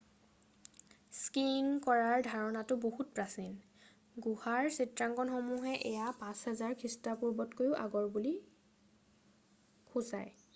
skiing কৰাৰ ধাৰণাটো বহুত প্ৰাচীন গুহাৰ চিত্ৰাংকণসমূহে এয়া 5000 খ্ৰীষ্টপূৰ্বতকৈও আগৰ হ'ব বুলি সূচায়